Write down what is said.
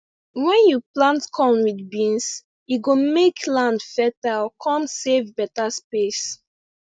wen you plant corn with beans e go make land fertile con save beta space